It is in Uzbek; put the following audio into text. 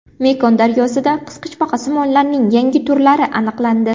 Mekong daryosida qisqichbaqasimonlarning yangi turlari aniqlandi.